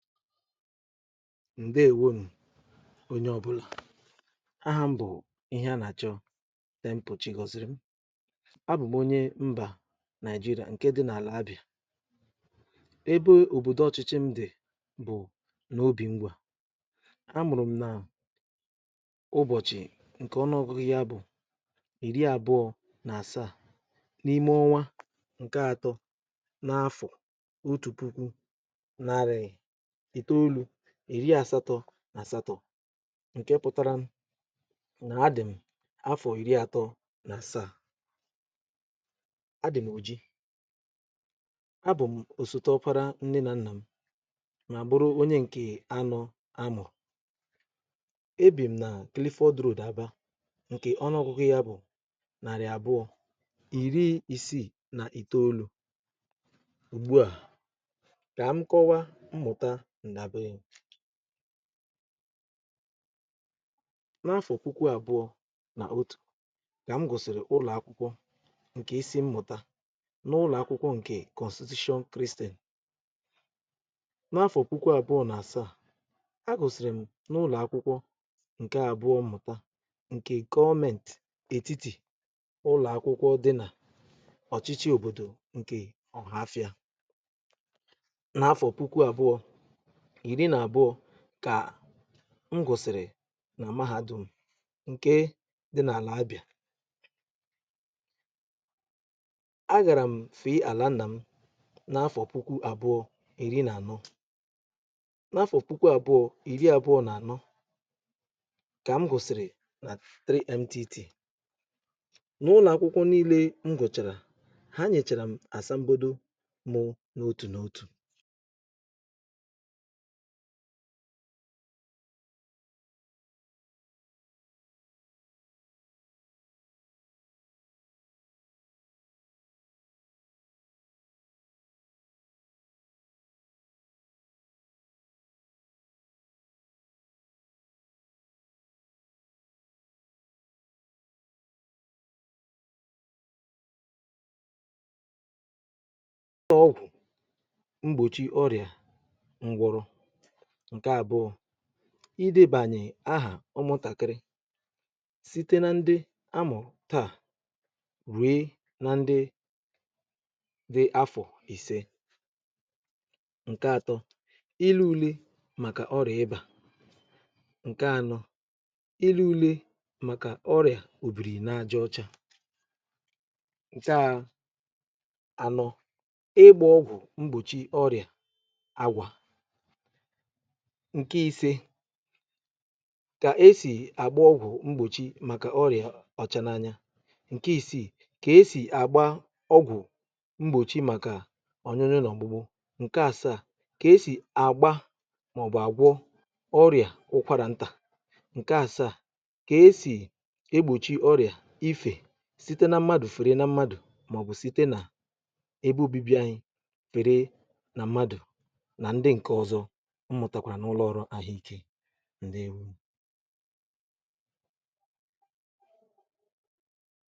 ǹdewo n onye ọbụla ahà m bụ̀ ihe a nà-àchọnde mpòchi gọ̀zịrị m um a bụ̀ m onye mbà naịjirịa ǹke dị n’àlà abịà ebe òbòdò ọchịchị m dị̀ bụ̀ n’obì mgbè a a mụ̀rụ̀ m nà ụbọ̀chị̀ ǹkè ọnụ ọgụghi̇ bụ̀ ìri àbụọ̇ n’àsaà n’ime ọnwa ǹke atọ n’afọ̀ otù puku ị̀tàolu̇ iri àsatọ̇ nà àsatọ̇ ǹke pụtara m nà adị̀m afọ̀ iri atọ̇ nà saa adị̀m ọ̀ ji abụ̀ m òsòo ọ̀para nne nà nnà m nà àbụrụ onye ǹkè anọ amụ̀ um ebìm nà klifọdroda abȧ ǹkè ọ nọ̀kụ̀kụ̀ ya bụ̀ nàrị̀ abụọ̇ ìri isì nà ìtoolu̇ ugbu à kà m kọwa mmụ̀ta ǹdàbịrị m n’afọ̀pụkwa àbụọ nà otù gà m gụ̀sìrì ụlọ̀akwụkwọ ǹkè isi m mụ̀ta n’ụlọ̀akwụkwọ ǹkè kọ̀stitio kristìl n’afọ̀pụkwa àbụọ nà àsaa um a gụ̀sìrì m n’ụlọ̀akwụkwọ ǹke àbụọ mụ̀ta ǹkè gọọment òtiti ụlọ̀akwụkwọ dị nà ọ̀chịchị òbòdò ǹkè ọ̀hafịa n’afọ̀pụkwa àbụọ iri nà-àbụọ̇ kà m gụ̀sị̀rị̀ nà amaghȧ dùm ǹke dị n’àlà abịà aghàrà m fèe àlà nà m n’afọ̀ puku àbụọ̇ iri nà-ànọ n’afọ̀ puku àbụọ̇ iri àbụọ̇ nà ànọ kà m gụ̀sị̀rị̀ nà npit n’ụlọ̀ akwụkwọ nille m gụ̀chàrà ha nyèchàrà m asambodo mụ n’òtù nà òtù ọgwụ mgbochi ọrịa ǹkè àbụ̀ụ̀ idebànyè ahà ụmụ̀tàkiri site na ndi amù taà wee na ndi di afọ̀ ìse ǹkè atọ̇ ilu ulė màkà ọrịà ịbà ǹkè anọ ilu ulė màkà ọrịà òbìrì na-aja ọcha taà ànọ ịgbȧ ọgwụ̀ mgbòchi ọrịa agwà ǹke ise kà esì àgba ọgwụ̀ mgbòchi màkà ọrị̀à ọ̀chȧnanya ǹke isiì kà esì àgba ọgwụ̀ mgbòchi màkà ònyonyȯ nà ọ̀gbụgbụ ǹke ȧsaȧ kà esì àgba màọ̀bụ̀ àgwọ ọrị̀à ụkwarà ntà ǹke ȧsaȧ kà esì egbòchi ọrị̀à ifè site na mmadụ̀ fère na mmadụ̀ màọ̀bụ̀ site nà ebe obibi anyị pere na mmadụ̀ nà ndị ǹke ọ̀zọ um ndị ewu